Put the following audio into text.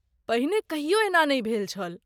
पहिने कहियो एना नहि भेल छल।